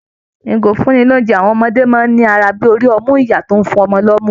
Ìgò ìfúnni-lóunjẹ àwọn ọmọdé máa ń ní àrà bí i orí ọmú ìyá tó ń fún ọmọ lomu